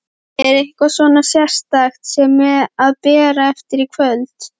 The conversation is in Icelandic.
Er eitthvað svona sérstakt sem að ber af í kvöld?